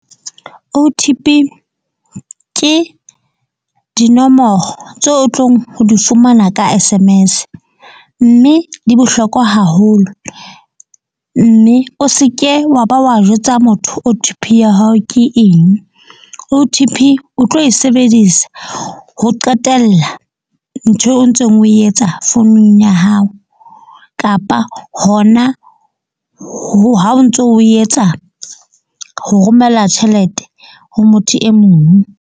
O_T_P ke dinomoro tseo o tlong ho di fumana ka S_M_S mme di bohlokwa haholo. Mme o seke wa ba wa jwetsa motho O_T_P ya hao ke eng. O_T_P o tlo e sebedisa ho qetella ntho eo o ntseng o e etsa founung ya hao, kapa hona ha o ntso o etsa ho romela tjhelete ho motho e mong.